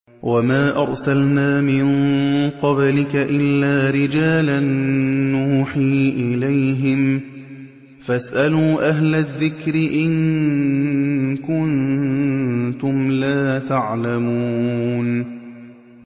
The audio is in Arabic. وَمَا أَرْسَلْنَا مِن قَبْلِكَ إِلَّا رِجَالًا نُّوحِي إِلَيْهِمْ ۚ فَاسْأَلُوا أَهْلَ الذِّكْرِ إِن كُنتُمْ لَا تَعْلَمُونَ